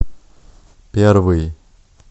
первый